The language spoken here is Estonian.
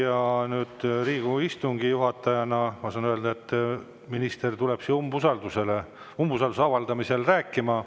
Ja Riigikogu istungi juhatajana ma saan öelda, et minister tuleb siia umbusalduse avaldamisel rääkima.